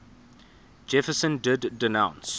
jefferson did denounce